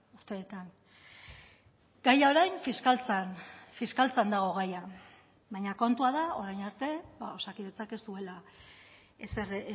urteetan gaia orain fiskaltzan fiskaltzan dago gaia baina kontua da orain arte osakidetzak ez duela ezer